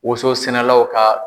Woson sɛnɛlaw ka